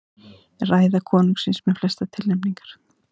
Ræða konungsins með flestar tilnefningar